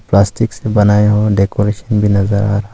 Plastic से बने हुए डेकोरेशन भी नजर आ रहा है।